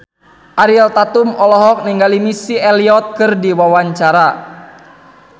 Ariel Tatum olohok ningali Missy Elliott keur diwawancara